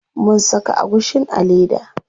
Mun saka agushin a leda.